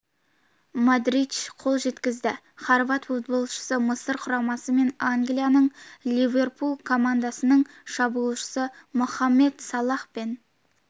модрич қол жеткізді хорват футболшысы мысыр құрамасы мен англияның ливерпуль командасының шабуылшысы мохамед салах пен